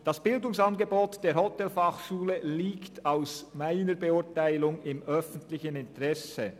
Das Bildungsangebot der Hotelfachschule Thun liegt aus meiner Sicht im öffentlichen Interesse.